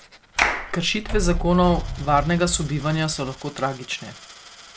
Kršitve zakonov varnega sobivanja so lahko tragične.